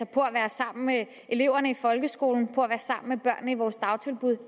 på at være sammen med eleverne i folkeskolen og være sammen med børnene i vores dagtilbud